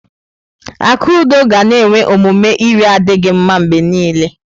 Akudo ga na-enwe omume iri adịghị mma mgbe niile.